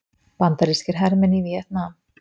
Bandarískir hermenn í Víetnam.